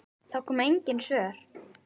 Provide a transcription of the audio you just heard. Það komu engin svör.